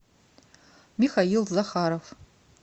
михаил захаров